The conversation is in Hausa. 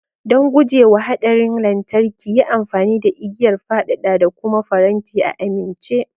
Don guje wa haɗarin lantarki, yi amfani da igiyar fadada da kuma faranti a amince.